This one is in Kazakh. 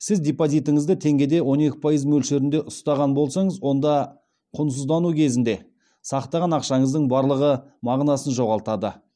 сіз депозитіңізді теңгеде он екі пайыз мөлшерінде ұстаған болсаңыз онда құнсыздану кезеңінде сақтаған ақшаңыздың барлығы мағынасын жоғалтады